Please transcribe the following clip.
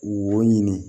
Wo ɲini